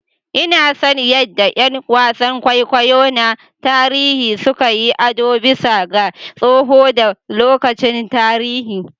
Ina son yadda ƴan wasan kwaikwayo na tarihi suka yi ado bisa ga tsoho da lokacin tarihi.